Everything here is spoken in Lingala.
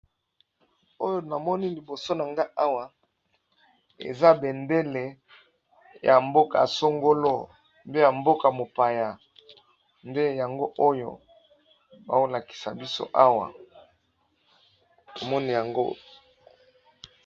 Oyo namoni liboso na nga awa eza bendele ya mboka songolo mpe ya mboka mopaya nde yango oyo bazolakisa biso awa omoni yango.